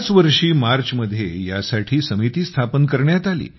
याच वर्षी मार्चमध्ये यासाठी समिती स्थापन करण्यात आली